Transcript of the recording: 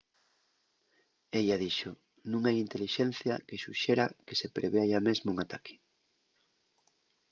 ella dixo nun hai intelixencia que suxera que se prevea yá mesmo un ataque